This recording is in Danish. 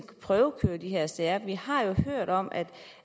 prøvekøre de her sager vi har jo hørt om at